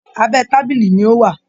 Abẹ́ tábìlì ni ó wà